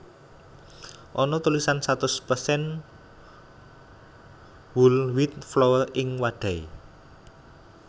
Ana tulisan satus persen whole wheat flour ing wadhahé